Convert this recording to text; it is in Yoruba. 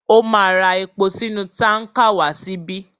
Ó ma ra epo sínú tánkà wá síbí.